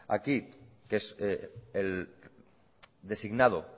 aquí que es designado